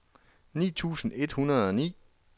ni tusind et hundrede og ni